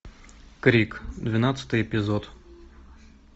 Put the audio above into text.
крик двенадцатый эпизод